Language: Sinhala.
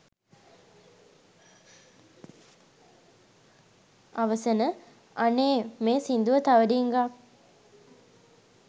අවසන 'අනේ ! මේ සින්දුව තව ඩිංගක්